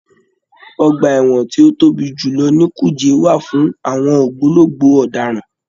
Ọgbà ẹ̀wọ̀n tí ó tóbi jù lọ ní Kùjé wà fún àwọn ògbólógbò ọ̀daràn.